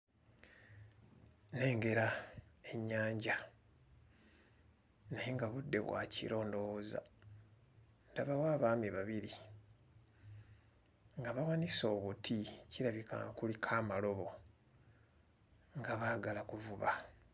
Nnengera ennyanja naye nga budde bwa kiro ndowooza, ndabawo abaami babiri nga bawanise obuti, kirabika nga kuliko amalobo nga baagala kuvuba.